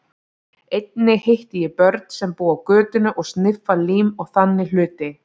Einnig hitti ég börn sem búa á götunni og sniffa lím og þannig hluti.